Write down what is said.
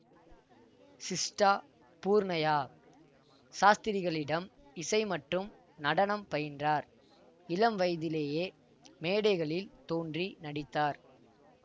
சிஸ்டா பூர்ணையா சாஸ்திரிகளிடம் இசை மற்றும் நடனம் பயின்றார் இளம் வயதிலேயே மேடைகளில் தோன்றி நடித்தார்